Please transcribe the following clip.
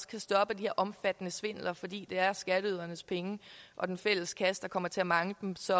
kan stoppe de her omfattende svindler fordi det er skatteydernes penge og den fælles kasse der kommer til at mangle dem så